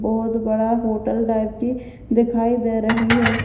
बहोत बड़ा hotel type की दिखाई दे रही है।